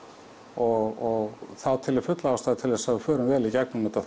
og þá tel ég fulla ástæðu til að við förum vel í gegnum þetta